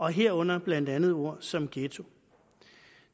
herunder blandt andet ord som ghetto